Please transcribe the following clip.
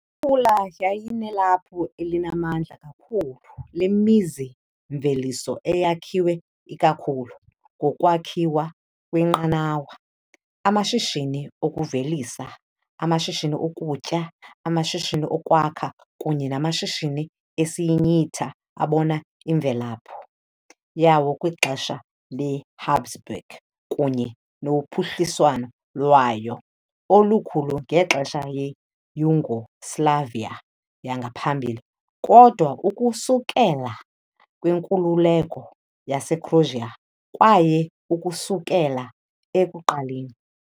I-Pula yayinelaphu elinamandla kakhulu lemizi-mveliso eyakhiwe ikakhulu ngokwakhiwa kweenqanawa, amashishini okuvelisa, amashishini okutya, amashishini okwakha kunye namashishini esinyitha abona imvelaphi yawo kwixesha leHabsburg kunye nophuhliswano lwayo olukhulu ngexesha leYugoslavia yangaphambili, kodwa ukusukela kwinkululeko yaseCroatia kwaye ukusukela ekuqaleni.